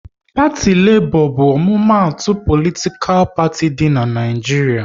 Parti Lebo bu omumatu politikal parti di n'Naijiria